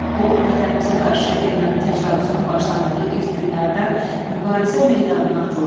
O, vətənimizə qarşı erməni təcavüzünün başlandığı ilk günlərdən mübarizə meydanına atılıb.